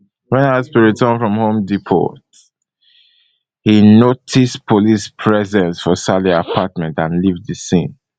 wen haspil return from home depot e notice police presence for saleh apartment and leave di scene